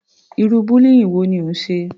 Irú bullying wo ni ó ń ṣe?